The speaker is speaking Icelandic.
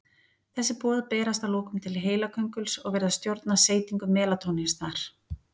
Þessi boð berast að lokum til heilakönguls og virðast stjórna seytingu melatóníns þar.